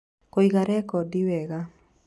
Kũiga rekondi wega: